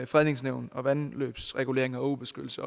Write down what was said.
fredningsnævnet og vandløbsregulering og åbeskyttelse